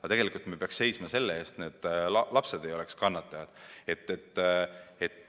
Aga eelkõige peaks me seisma selle eest, et kannatajad ei oleks lapsed.